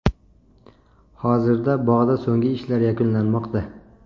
Hozirda bog‘da so‘nggi ishlar yakunlanmoqda.